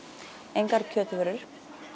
engar kjötvörur